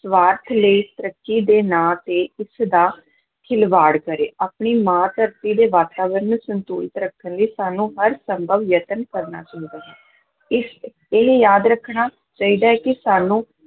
ਸਵਾਰਥ ਲਈ, ਤਰੱਕੀ ਦੇ ਨਾਂ ਤੇ ਇਸ ਦਾ ਖਿਲਵਾੜ ਕਰੇ, ਆਪਣੀ ਮਾਂ ਧਰਤੀ ਦੇ ਵਾਤਾਵਰਨ ਨੂੰ ਸੰਤੁਲਿਤ ਰੱਖਣ ਲਈ ਸਾਨੂੰ ਹਰ ਸੰਭਵ ਯਤਨ ਕਰਨਾ ਚਾਹੀਦਾ ਹੈ, ਇਸ ਇਹਨੂੰ ਯਾਦ ਰੱਖਣਾ ਚਾਹੀਦਾ ਹੈ ਕਿ ਸਾਨੂੰ